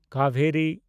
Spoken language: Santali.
ᱠᱟᱵᱮᱨᱤ